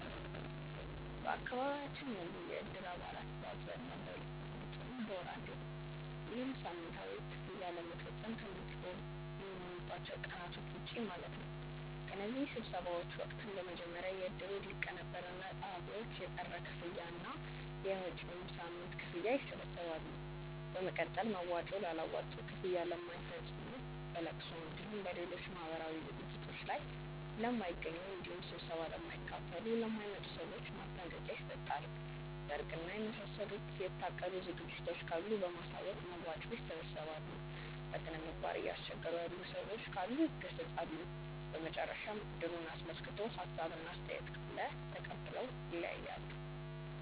በአካባቢያችን ያሉ የእድር አባላት በአብዛኛው በሁለት ሳምንት ወይም በወር አንዴ ነው። ይህም ሳምንታዊ ክፍያ ለመፈፀም ከሚገናኙባቸው ቀናቶች ውጪ ማለት ነው። በእነዚህ ስብሰባዎች ወቅትም በመጀመሪያ የእድሩ ሊቀመንበር እና ፀሀፊዎች የቀረ ክፍያ እና የመጪዉን ሳምንት ክፍያ ይሰበስባሉ። በመቀጠል መዋጮ ላላዋጡ፣ ክፍያ ለማይፈፅሙ፣ በለቅሶ እንዲሁም በሌሎች ማህበራዊ ዝግጅቶት ላይ ለማይገኙ እንዲሁም ስብሰባ ለማይካፈሉ ( ለማይመጡ) ሰዎች ማስጠንቀቂያ ይሰጣል። ሰርግ እና የመሳሰሉ የታቀዱ ዝግጅቶች ካሉ በማሳወቅ መዋጮ ያሰባስባሉ። በስነምግባር እያስቸገሩ ያሉ ሰዎች ካሉ ይገሰፃሉ። በመጨረሻም እድሩን አስመልክቶ ሀሳብ እና አስተያየት ካለ ተቀብለው ይለያያሉ።